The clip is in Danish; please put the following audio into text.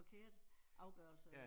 Forkert afgørelse